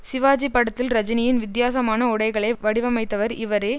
சிவாஜி படத்தில் ரஜினியின் வித்தியாசமான உடைகளை வடிவமைத்தவர் இவரே